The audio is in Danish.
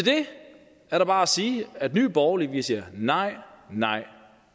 er der bare at sige at nye borgerlige siger nej nej